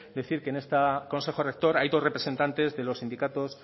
decir que en este consejo rector hay dos representantes de los sindicatos